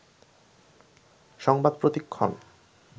সংবাদ প্রতিক্ষণ